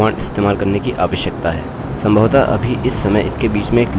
सम्भवतः अभी इस समय इसके बीच में एक लूप है अतः जो कुछ भी हम एकोechoकरते हैं वह फिर से दोहराएगा